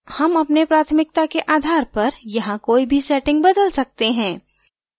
हम अपने प्राथमिकता के आधार पर यहाँ कोई भी settings बदल सकते हैं